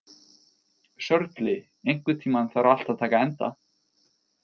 Sörli, einhvern tímann þarf allt að taka enda.